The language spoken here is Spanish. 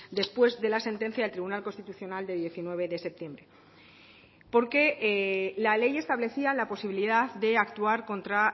después de la sentencia del tribunal constitucional de diecinueve de septiembre porque la ley establecía la posibilidad de actuar contra